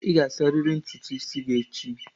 Ị ga-asarịrị ntutu isi gị echi.